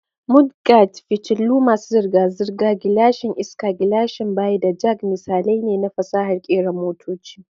Mudguards, fitilu masu zirga-zirga, gilashin iska, gilashin baya, da jacks misalai ne na fasahar kera motoci.